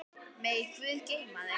Megi Guð geyma þig.